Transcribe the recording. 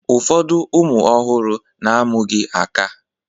Ụfọdụ ụmụ ọhụrụ na-amụghị aka